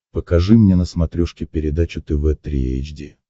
покажи мне на смотрешке передачу тв три эйч ди